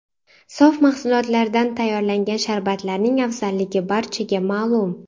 Sof mahsulotdan tayyorlangan sharbatlarning afzalligi barchaga ma’lum.